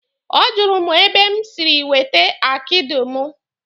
Ọ jụrụ mụ ebe m siri wete akidi mụ.